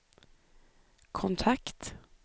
kontakt